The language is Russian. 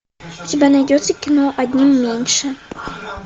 у тебя найдется кино одним меньше